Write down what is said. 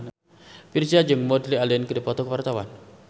Virzha jeung Woody Allen keur dipoto ku wartawan